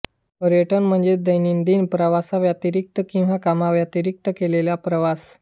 पर्यटन म्हणजे दैनंदिन प्रवासाव्यतिरिक्त किंवा कामाव्यतिरिक्त केलेला प्रवास